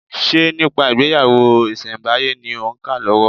Ṣe nípa ìgbéyàwó ìsẹ̀ǹbáyé ni òń kà lọ́wọ́?